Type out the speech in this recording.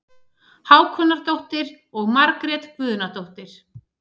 Hákonardóttir og Margrét Guðnadóttir.